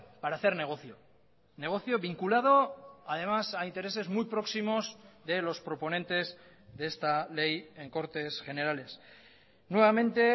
para hacer negocio negocio vinculado además a intereses muy próximos de los proponentes de esta ley en cortes generales nuevamente